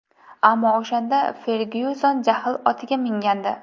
Ammo o‘shanda Fergyuson jahl otiga mingandi.